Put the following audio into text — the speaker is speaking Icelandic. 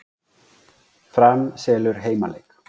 Fram selur heimaleik